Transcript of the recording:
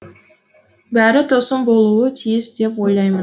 бәрі тосын болуы тиіс деп ойлаймын